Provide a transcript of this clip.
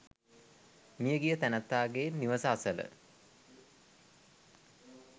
මියගිය තැනැත්තාගේ නිවස අසල